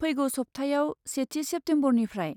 फैगौ सब्थायाव, सेथि सेप्टम्बरनिफ्राय।